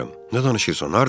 Nə danışırsan, hardadır?